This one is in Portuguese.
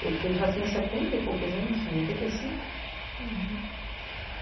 Porque ele já tinha setenta e poucos anos, em oitenta e cinco. Uhum